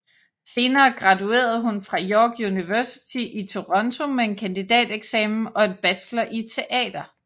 Senere graduerede hun fra York University i Toronto med en kandidateksamen og en bachelor i teater